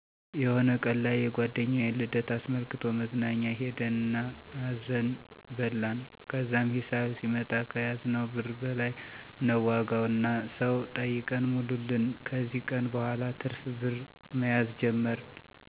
የሆነ ቀን ላይ የጓደኛዬን ልደት አስመልክቶ መዝናኛ ሄድን እና አዘን በላን። ከዛም ሂሳብ ሲመጣ ከያዝነው ብር በላይ ነበር ዋጋው እና ሰው ጠይቀን ሞሉልን። ከዚ ቀን በኋላ ትርፍ ብር መያዝ ጀመርን።